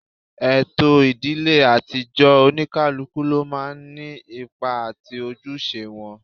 Ètò ìdílé àtijọ́, Oníkálukú ló máa ń ní ipa àti ojúṣe wọn